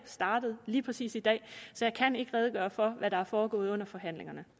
startet lige præcis i dag så jeg kan ikke redegøre for hvad der er foregået under forhandlingerne